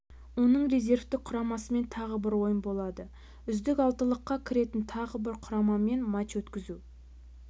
оның резервтік құрамасымен тағы бір ойын болады үздік алтылыққа кіретін тағы бір құрамамен матч өткізу